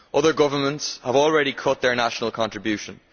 Other governments have already cut their national contributions.